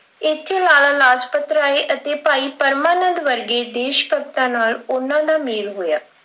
ਇੱਥੇ ਲਾਲਾ ਰਾਜਪਤ ਰਾਏ ਅਤੇ ਭਾਈ ਪਰਮਾ ਨੰਦ ਵਰਗੇ ਦੇਸ਼ ਭਗਤਾਂ ਨਾਲ ਉਹਨਾਂ ਦਾ ਮੇਲ ਹੋਇਆ।